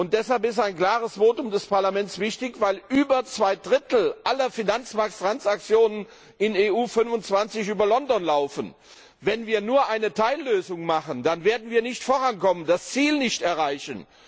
Deshalb ist ein klares Votum des Parlaments wichtig, weil über zwei Drittel aller Finanzmarkttransaktionen in der EU 25 über London laufen. Wenn wir nur eine Teillösung machen, dann werden wir nicht vorankommen, das Ziel nicht erreichen.